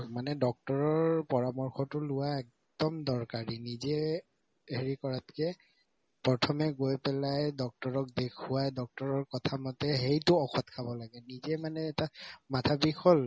মানে doctor ৰৰ পৰামৰ্শতো লোৱা একদম দৰকাৰী নিজে হেৰি কৰাতকে প্ৰথমে গৈ পেলাই doctor ৰক দেখুৱাই doctor ৰৰ কথা মতে সেইটো ঔষধ লব লাগে নিজে মানে এটা মাথাৰ বিষ হল